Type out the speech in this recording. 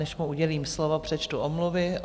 Než mu udělím slovo, přečtu omluvy.